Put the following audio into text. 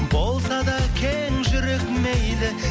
болса да кең жүрек мейлі